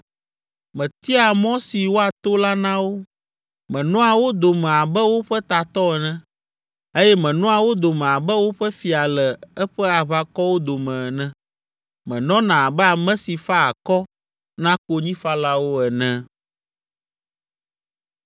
Metiaa mɔ si woato la na wo, menɔa wo dome abe woƒe tatɔ ene eye menɔa wo dome abe woƒe fia le eƒe aʋakɔwo dome ene. Menɔna abe ame si faa akɔ na konyifalawo ene.